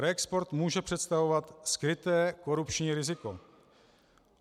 Reexport může představovat skryté korupční riziko.